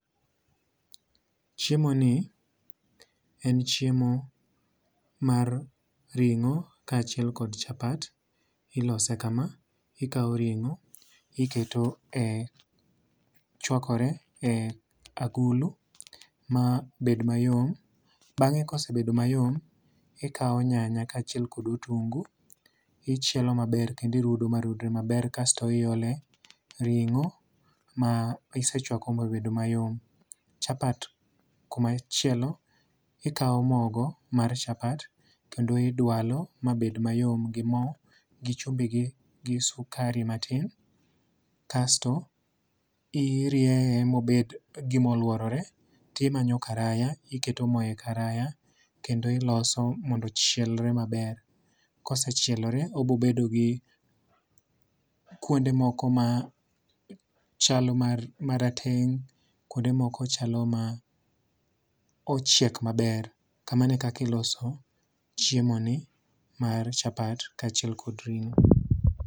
Chiemo ni en chiemo mar ring'o ka achiel kod chapat. Ilose ka ma. Ikaw ring'o, iketo e chwakore e agulu ma bed mayom. Bang'e kosebedo mayom, ikaw nyanya ka achiel kod otungu, ichielo maber kendo irudo ma rudre maber kasto iole ring'o ma isechwako ma obedo mayom. Chapat kuma chielo ikaw mogo mar chapat kendo idwalo ma bed mayom gi mo gi chumbi gi sukari matin. Kasto irieye mobed gimoluorore timanyo karaya iketo mo e karaya kendo iloso mondo ochielre maber. Kosechielore obobedo gi kuonde moko ma chalo marateng. Kuonde moko chalo ma ochiek maber. Kamano e kaka iloso chiemo ni mar chapat ka achiel kod ring'o.